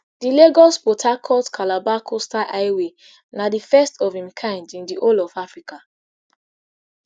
di lagosport harcourtcalabar coastal highway na di first of im kind in di whole of africa